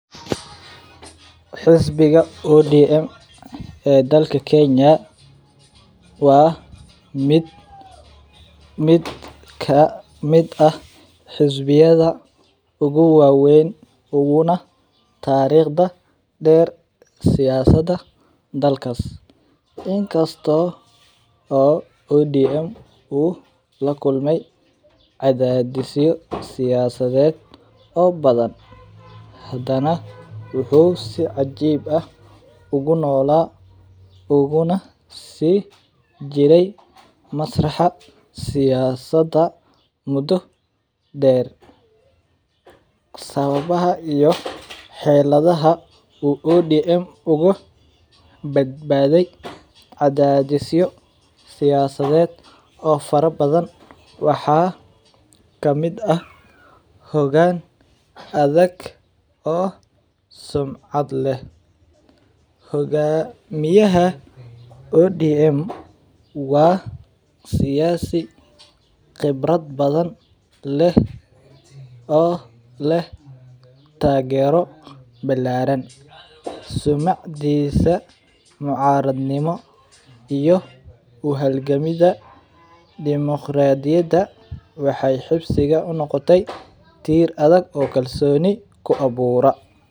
Xisbiga ODM ee dalka kenya waa mid kamiid ah xisbiyada ugu wawen una tariqda der siyasada dalkas in kasto ODM u lakulmey cadadisyo siyasiyeed oo badan hadana wuxuu si cajib ah uguna si jiri jire siyasada masraxeed sawabaha iyo xeradhaha u ODM bad baday cadhadisyo siyasadeed waxaa kamiid ah hogan adhag oo sumcaad leh hogamiyaha ODM waa siyasi qebrad badan leh oo leh tagero balaran sumcadisu mucaradnimo iyo uhalgamida dimoqaradiyada waxee habsiga unoqote tir adhag oo kusameyse.